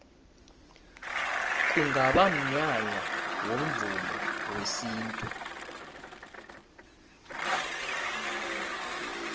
kungaba mnyanya womvumo wesintu